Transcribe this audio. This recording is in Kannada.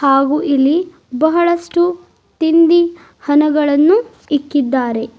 ಹಾಗು ಇಲ್ಲಿ ಬಹಳಷ್ಟು ತಿಂಡಿ ಹನಗಳನ್ನು ಇಕ್ಕಿದ್ದಾರೆ.